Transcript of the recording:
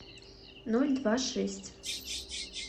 ноль два шесть